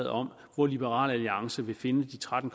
om hvor liberal alliance vil finde de tretten